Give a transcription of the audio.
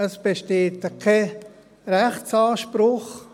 Es besteht kein Rechtsanspruch.